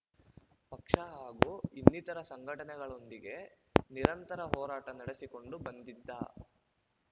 ಪಕ್ಷ ಹಾಗೂ ಇನ್ನಿತರ ಸಂಘಟನೆಗಳೊಂದಿಗೆ ನಿರಂತರ ಹೋರಾಟ ನಡೆಸಿಕೊಂಡು ಬಂದಿದ